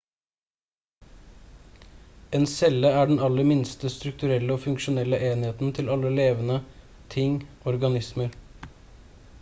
en celle er den aller minste strukturelle og funksjonelle enheten til alle levende ting organismer